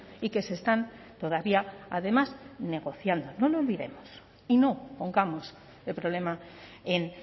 y que se están todavía además negociando no lo olvidemos y no pongamos el problema en